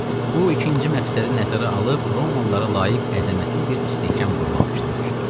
Bu ikinci məqsədi nəzərə alıb Romalılara layiq əzəmətli bir istehkam qurmaq fikrinə düşdü.